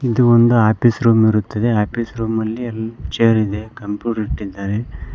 ಇದು ಒಂದು office room ಇರುತ್ತದೆ ಆಫೀಸ್ ರೂಮ್ ಅಲ್ಲಿ ಎಲ್ಲಾ ಚೇರ್ ಇದೆ ಕಂಪ್ಯೂಟರ್ ಇಟ್ಟಿದ್ದಾರೆ.